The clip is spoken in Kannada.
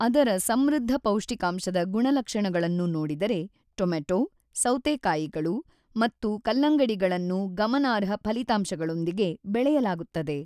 ಅದರ ಸಮೃದ್ಧ ಪೌಷ್ಟಿಕಾಂಶದ ಗುಣಲಕ್ಷಣಗಳನ್ನು ನೋಡಿದರೆ, ಟೊಮೆಟೊ, ಸೌತೆಕಾಯಿಗಳು ಮತ್ತು ಕಲ್ಲಂಗಡಿಗಳನ್ನು ಗಮನಾರ್ಹ ಫಲಿತಾಂಶಗಳೊಂದಿಗೆ ಬೆಳೆಯಲಾಗುತ್ತದೆ.